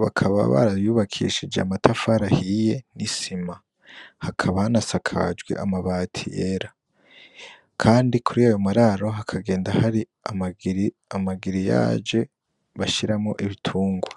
bakaba barayubakishije amatafari ahiye n'isima , hakaba hanasakajwe amabati yera kandi kurayo mararo hakagenda hari amagiriyaje bashiramwo ibitunrwa.